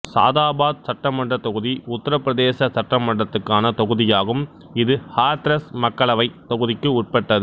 சாதாபாத் சட்டமன்றத் தொகுதி உத்தரப் பிரதேச சட்டமன்றத்துக்கான தொகுதியாகும் இது ஹாத்ரஸ் மக்களவைத் தொகுதிக்கு உட்பட்டது